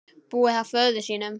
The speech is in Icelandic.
Búa hjá föður sínum?